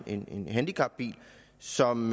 en en handicapbil som